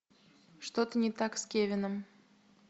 что то не так с кевином